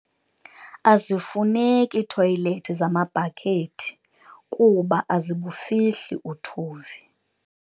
Azifuneki iithoyilethi zamabhakethi kuba azibufihli uthuvi.